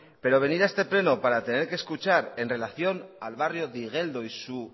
pero venir a este pleno para tener que escuchar en relación al barrio de igeldo y su